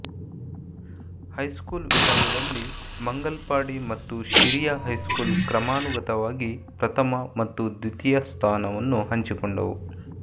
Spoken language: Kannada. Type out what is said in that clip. ಹೈಸ್ಕೂಲ್ ವಿಭಾಗದಲ್ಲಿಮಂಗಲ್ಪಾಡಿ ಮತ್ತು ಶಿರಿಯ ಹೈಸ್ಕೂಲ್ ಕ್ರಮಾನುಗತವಾಗಿ ಪ್ರಥಮ ಮತ್ತು ದ್ವಿತೀಯ ಸ್ಥಾನವನ್ನು ಹಂಚಿಕೊಂಡುವು